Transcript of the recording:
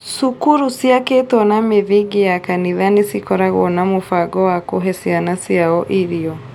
Cukuru ciakĩtwo na mĩthingi ya kanitha nĩ cikoragwo na mũbango wa kũhe ciana ciao irio